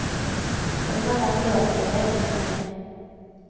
Hadde den vært låst, ville jeg brutt meg inn.